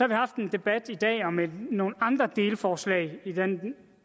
vi haft en debat i dag om nogle andre delforslag i den